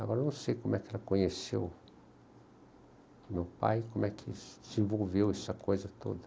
Agora, não sei como ela conheceu o meu pai, como se desenvolveu essa coisa toda.